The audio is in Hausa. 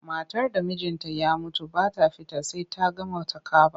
Matar da mijinta ya mutu ba ta fita sai ta gama takaba.